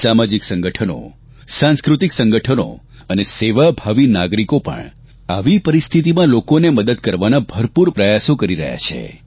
સામાજિક સંગઠનો સાંસ્કૃતિક સંગઠનો અને સેવાભાવી નાગરિકો પણ આવી પરિસ્થિતિમાં લોકોને મદદ કરવાના ભરપૂર પ્રયાસો કરી રહ્યા છે